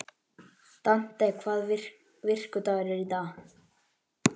Dante, hvaða vikudagur er í dag?